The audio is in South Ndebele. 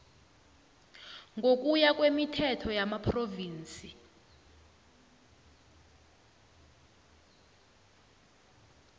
ngokuya kwemithetho yamaphrovinsi